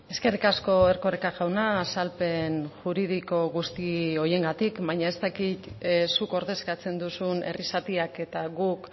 eskerrik asko erkoreka jauna azalpen juridiko guzti horiengatik baina ez dakit zuk ordezkatzen duzun herri zatiak eta guk